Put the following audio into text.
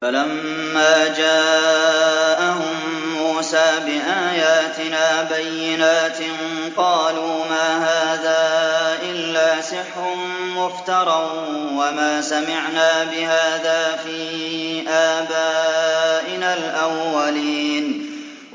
فَلَمَّا جَاءَهُم مُّوسَىٰ بِآيَاتِنَا بَيِّنَاتٍ قَالُوا مَا هَٰذَا إِلَّا سِحْرٌ مُّفْتَرًى وَمَا سَمِعْنَا بِهَٰذَا فِي آبَائِنَا الْأَوَّلِينَ